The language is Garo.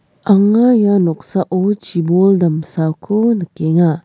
anga ia noksao chibol damsako nikenga.